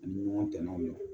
U ni ɲɔgɔn tɛ naw ye